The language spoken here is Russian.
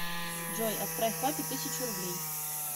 джой отправь папе тысячу рублей